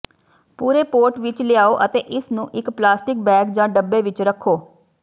ਪੂਰੇ ਪੋਟ ਵਿਚ ਲਿਆਓ ਅਤੇ ਇਸ ਨੂੰ ਇਕ ਪਲਾਸਟਿਕ ਬੈਗ ਜਾਂ ਡੱਬੇ ਵਿਚ ਰੱਖੋ